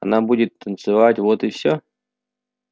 она будет танцевать вот и всё